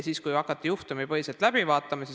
Hakati juhtumipõhiselt vaatama.